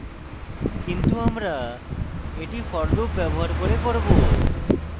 কিন্তু আমরা এটি for loop ব্যবহার করে করব